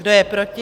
Kdo je proti?